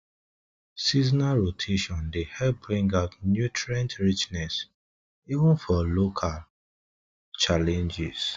seasonal rotation dey help bring out nutrient richness even for local challenges